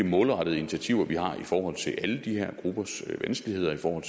målrettede initiativer vi har i forhold til alle de her gruppers vanskeligheder for